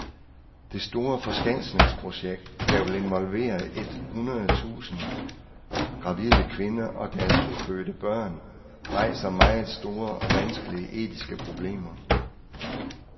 Dette store forskansningsprojekt, der vil involvere et hundrede tusind gravide kvinder og deres ufødte børn, rejser meget store og vanskelige etiske problemer.